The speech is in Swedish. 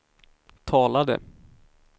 talade